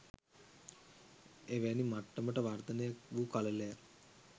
එවැනි මට්ටමට වර්ධනය වූ කළලයක්